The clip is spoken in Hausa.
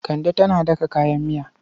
Kande tana daka kayan miya.